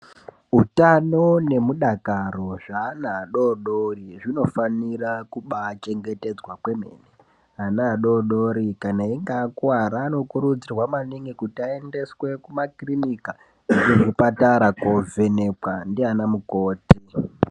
Utano nemudakari zvaana afodori zvinofanira kubaa chengetedzwa kwemene ana adodori kana einge akuwara anokurudzirwa maningi kuti aendeswe kuma kirinika kuzvipatara kovhenekwa ndiana mukoti.